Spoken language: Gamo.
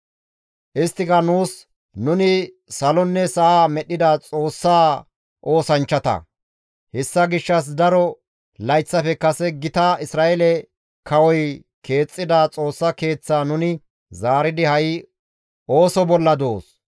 «Isttika nuus, ‹Nuni salonne sa7a medhdhida Xoossaa oosanchchata; hessa gishshas daro layththafe kase gita Isra7eele kawoy keexxida Xoossa Keeththaa nuni zaaridi ha7i ooso bolla doos;